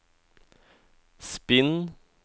spinn